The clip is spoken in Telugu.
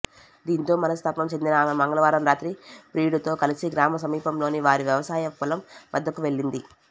దీంతో మనస్తాపం చెందిన ఆమె మంగళవారం రాత్రి ప్రియుడితో కలిసి గ్రామ సమీపంలోని వారి వ్యవసాయ పొలం వద్దకు వెళ్లింది